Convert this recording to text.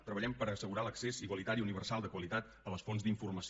treballem per assegurar l’accés igualitari universal de qualitat a les fonts d’informació